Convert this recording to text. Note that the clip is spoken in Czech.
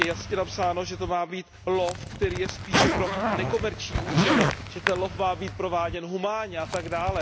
Je jasně napsáno, že to má být lov, který je spíše pro nekomerční účely. Že ten lov má být prováděn humánně atd.